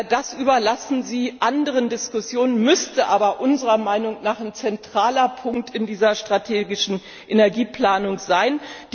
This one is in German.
Öl. Das überlassen Sie anderen Diskussionen. Diese Frage müsste aber unserer Meinung nach ein zentraler Punkt in dieser strategischen Energieplanung